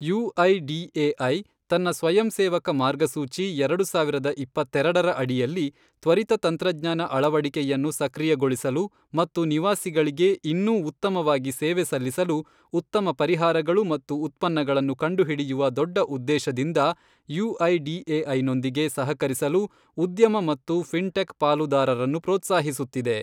UIDAI, ತನ್ನ ಸ್ವಯಂಸೇವಕ ಮಾರ್ಗಸೂಚಿ ಎರಡು ಸಾವಿರದ ಇಪ್ಪತ್ತೆರಡರ ಅಡಿಯಲ್ಲಿ, ತ್ವರಿತ ತಂತ್ರಜ್ಞಾನ ಅಳವಡಿಕೆಯನ್ನು ಸಕ್ರಿಯಗೊಳಿಸಲು ಮತ್ತು ನಿವಾಸಿಗಳಿಗೆ ಇನ್ನೂ ಉತ್ತಮವಾಗಿ ಸೇವೆ ಸಲ್ಲಿಸಲು ಉತ್ತಮ ಪರಿಹಾರಗಳು ಮತ್ತು ಉತ್ಪನ್ನಗಳನ್ನು ಕಂಡುಹಿಡಿಯುವ ದೊಡ್ಡ ಉದ್ದೇಶದಿಂದ ಯುಐಡಿಎಐನೊಂದಿಗೆ ಸಹಕರಿಸಲು ಉದ್ಯಮ ಮತ್ತು ಫಿನ್ಟೆಕ್ ಪಾಲುದಾರರನ್ನು ಪ್ರೋತ್ಸಾಹಿಸುತ್ತಿದೆ.